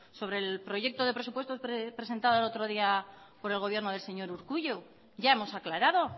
sobre el proyecto de presupuestos presentado el otro día por el gobierno del señor urkullu ya hemos aclarado